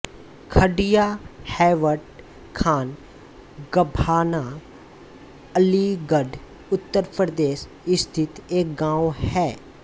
खडिया हैवट खान गभाना अलीगढ़ उत्तर प्रदेश स्थित एक गाँव है